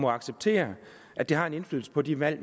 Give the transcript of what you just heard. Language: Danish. acceptere at det har en indflydelse på de valg